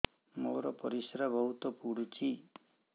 ମୋର ପରିସ୍ରା ବହୁତ ପୁଡୁଚି